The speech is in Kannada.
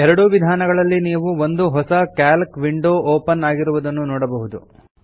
ಎರಡೂ ವಿಧಾನಗಳಲ್ಲಿ ನೀವು ಒಂದು ಹೊಸ ಕ್ಯಾಲ್ಕ್ ವಿಂಡೋ ಓಪನ್ ಆಗಿರುವುದನ್ನು ನೋಡಬಹುದು